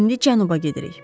indi cənuba gedirik.